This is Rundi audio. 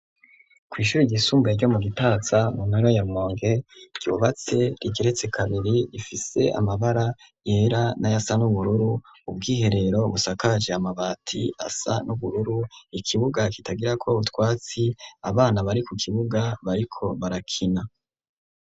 Kwishuri iyisumbuye ryo mu gitaza muntara ya rumonge ryubatse rigeretse kabiri rifise amabara yera na yasa n'ubururu ubwiherero busakaje amabati asa n'ubururu , ikibuga kitagirako utwatsi ,abana bari ku kibuga bariko barakina.